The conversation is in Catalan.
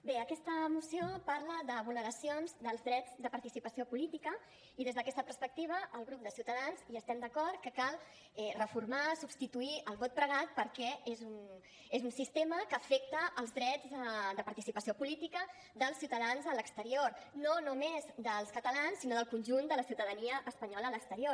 bé aquesta moció parla de vulneracions dels drets de participació política i des d’aquesta perspectiva el grup de ciutadans estem d’acord que cal reformar substituir el vot pregat perquè és un sistema que afecta els drets de participació política dels ciutadans a l’exterior no només dels catalans sinó del conjunt de la ciutadania espanyola a l’exterior